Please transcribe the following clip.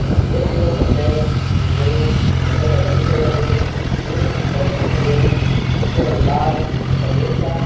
ये चित्र मा हम तें एक बड़ु बस अड्डा छा दिखेण लग्युं जफणी कुछ बस छन खड़ी होईं जूं कु रंग लाल अर सफेद छन।